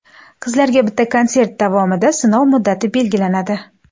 Qizlarga bitta konsert davomida sinov muddati belgilanadi.